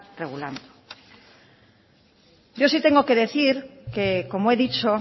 regulados yo sí tengo que decir que como he dicho